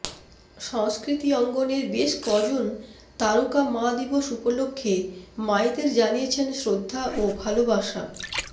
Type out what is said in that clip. সংস্কৃতি অঙ্গনের বেশ কজন তারকা মা দিবস উপলক্ষে মায়েদের জানিয়েছেন শ্রদ্ধা ও ভালোবাসা